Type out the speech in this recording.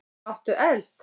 Áttu eld?